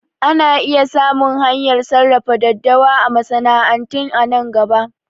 Ana iya samun hanyar sarrafa daddawa a masana'antu a nan gaba